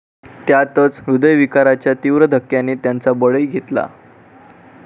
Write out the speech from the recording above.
त्यातच हृदयविकाराच्या तीव्र धक्क्याने त्यांचा बळी घेतला.